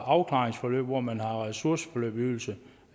afklaringsforløb hvor man har ressourceforløbsydelse